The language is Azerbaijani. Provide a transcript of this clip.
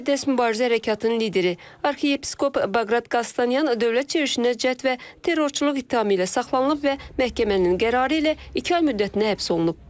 Müqəddəs Mübarizə Hərəkatının lideri arxiyepiskop Baqrat Qastanyan dövlət çevrilişinə cəhd və terrorçuluq ittihamı ilə saxlanılıb və məhkəmənin qərarı ilə iki ay müddətinə həbs olunub.